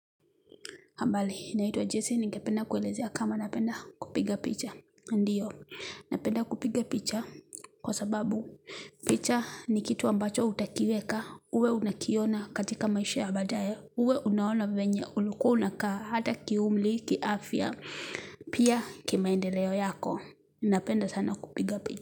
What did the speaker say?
Habari, naitwa Jesse, ningependa kuelezea kama napenda kupiga picha. Ndiyo, napenda kupiga picha kwa sababu picha ni kitu ambacho utakiweka, uwe unakiona katika maisha ya baadae, uwe unaona vyenye, ulikuwa unakaa, hata kiumri, kiafia, pia kimaendeleo yako. Napenda sana kupiga picha.